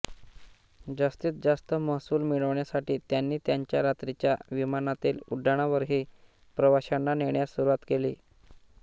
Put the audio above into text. जास्तीत जास्त महसूल मिळविण्यासाठी त्यांनी त्यांच्या रात्रीच्या विमानातील उड्डाणांवरही प्रवाश्यांना नेण्यास सुरुवात केली